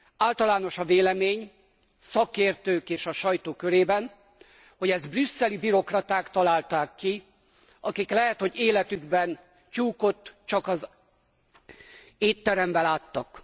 Általános a vélemény a szakértők és a sajtó körében, hogy ezt brüsszeli bürokraták találták ki, akik lehet, hogy életükben tyúkot csak étteremben láttak.